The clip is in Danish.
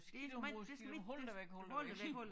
Skidt område skal du holde dig væk holde dig væk